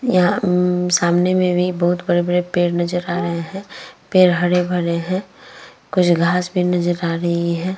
यहाँ अम्म सामने में भी बहोत बड़े-बड़े पेड़ नजर आ रहे हैं। पेड़ हरे भरे हैं। कुछ घास भी नजर आ रही है।